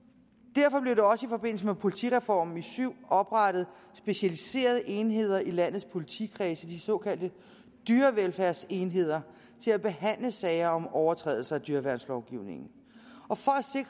derfor blev der også i forbindelse med politireformen i syv oprettet specialiserede enheder i landets politikredse de såkaldte dyrevelfærdsenheder til at behandle sager om overtrædelser af dyreværnslovgivningen og for